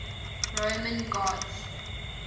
roman gods